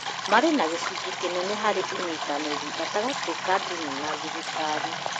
marĩ na gĩcunjĩ kĩnene harĩ ũnyitanĩri gatagatĩ ka ndini na thirikari